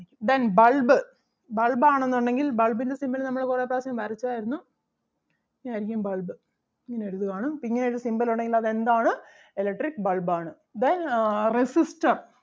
Then bulb bulb ആണെന്നുണ്ടെങ്കിൽ bulb ൻ്റെ symbol നമ്മൾ കുറെ പ്രാവശ്യം വരച്ചാരുന്നു ഇങ്ങനെ അരിക്കും bulb ഇങ്ങനെ എഴുതുവാണ്‌ അപ്പം ഇങ്ങനെ ഒരു symbol ഉണ്ടെങ്കിൽ അത് എന്താണ് electric bulb ആണ്. Then ah resistor